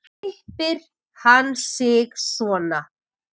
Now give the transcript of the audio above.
Klippir hann sig svona.